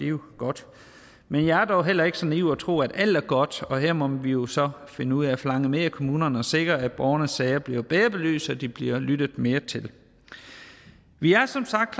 jo godt men jeg er dog heller ikke så naiv at tro at alt er godt og her må vi jo så finde ud af at forlange mere af kommunerne og sikre at borgernes sager bliver bedre belyst og at de bliver lyttet mere til vi er som sagt